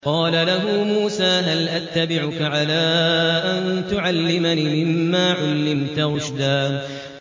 قَالَ لَهُ مُوسَىٰ هَلْ أَتَّبِعُكَ عَلَىٰ أَن تُعَلِّمَنِ مِمَّا عُلِّمْتَ رُشْدًا